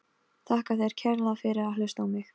Þakka þér kærlega fyrir að hlusta á mig!